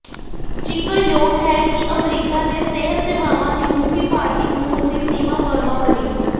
ਜ਼ਿਕਰਯੋਗ ਹੈ ਕਿ ਅਮਰੀਕਾ ਦੇ ਸਿਹਤ ਸੇਵਾਵਾਂ ਦੀ ਮੁਖੀ ਭਾਰਤੀ ਮੂਲ ਦੀ ਸੀਮਾ ਵਰਮਾ ਬਣੀ